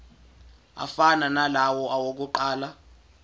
afana nalawo awokuqala